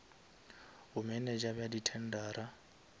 bomenetša bja di tendera